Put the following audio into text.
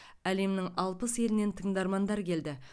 әлемнің алпыс елінен тыңдармандар келді